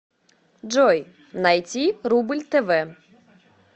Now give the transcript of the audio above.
джой найти рубль тв